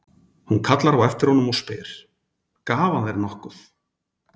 Hún kallar á eftir honum og spyr: Gaf hann þér nokkuð?